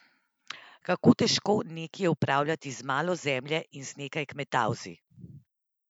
Kako težko neki je upravljati z malo zemlje in z nekaj kmetavzi?